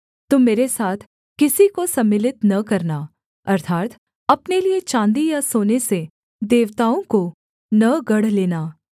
तुम मेरे साथ किसी को सम्मिलित न करना अर्थात् अपने लिये चाँदी या सोने से देवताओं को न गढ़ लेना